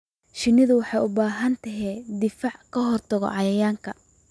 Shinnidu waxay u baahan tahay difaac ka hortagga cayayaanka.